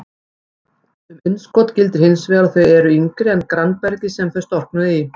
Um innskot gildir hins vegar að þau eru yngri en grannbergið sem þau storknuðu í.